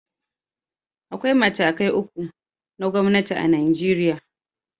Akwai matakai uku na gwamnati a Najeriya